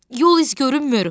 Yol izi görünmür.